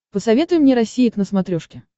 посоветуй мне россия к на смотрешке